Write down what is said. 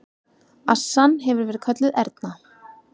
Assan hefur verið kölluð Erna.